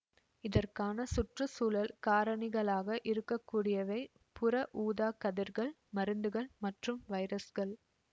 இதற்கான சுற்று சூழல் காரணிகளாக இருக்க கூடியவை புற ஊதாக் கதிர்கள் மருந்துகள் மற்றும் வைரஸ்கள்